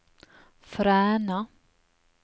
Fræna